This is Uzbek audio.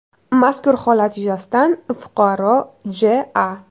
Mazkur holat yuzasidan fuqaro J.A.